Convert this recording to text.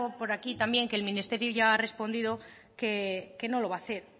por aquí también que el ministerio ya ha respondido que no lo va a hacer